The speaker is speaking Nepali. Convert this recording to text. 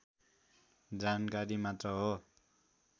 जानकारी मात्र हो